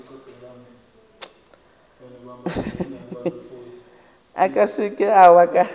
o ka se ke wa